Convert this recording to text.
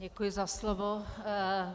Děkuji za slovo.